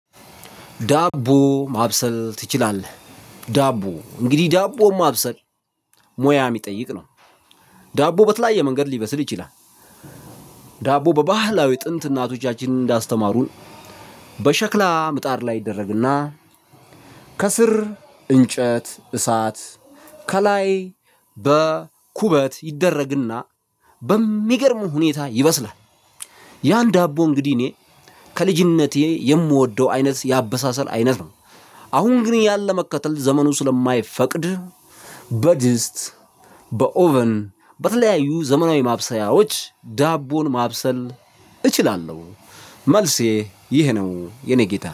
ዳቦ ማብሰል ትችላለህ? ዳቦ እንግዲህ ዳቦ ማብሰል ሙያ የሚጠይቅ ነው። ዳቦ በተለያየ መንገድ ሊበስል ይችላል። ዳቦ በባህላዊ ጥንት እናቶቻችንን እንዳስተማሩን። በሸክላ ምጣድ ላይ ይደረግና ከስር እንጨት እሳት ከላይ በኩበት ይደረግና በሚገርም ሁኔታ ይበስላል። ያን ዳቦ እንግዲህ እኔ ከልጅነቴ የምወደው አይነት የአበሳሰል አይነት ነው። አሁን ግን ያን ለመከተል ዘመኑ ስለማይፈቅድ። በድስት በኦቨን በተለያዩ ዘመናዊ ማብሰያዎች ዳቦን ማብሰል እችላለሁ። መልሴ ይህ ነው የኔ ጌታ